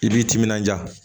I b'i timinanja